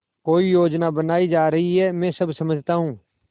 कोई योजना बनाई जा रही है मैं सब समझता हूँ